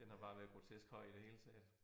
Den har bare været grotesk høj i det hele taget